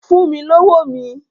Fún mi lówó mi!